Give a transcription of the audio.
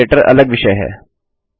and operator अलग विषय है